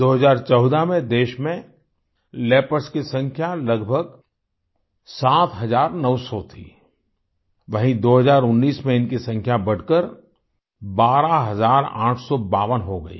2014 में देश मेंलियोपार्ड्स की संख्या लगभग 7900 थी वहीँ 2019 में इनकी संख्या बढ़कर 12852 हो गयी